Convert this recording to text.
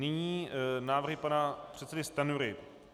Nyní návrhy pana předsedy Stanjury.